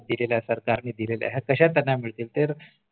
दिलेल्या सरकारने दिलेल्या आहेत कश्या त्यांना मिळतील पण